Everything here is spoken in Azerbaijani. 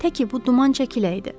Tək ki bu duman çəkiləydi.